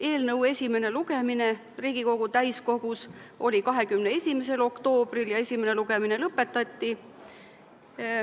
Eelnõu esimene lugemine Riigikogu täiskogus oli 21. oktoobril ja esimene lugemine lõpetati.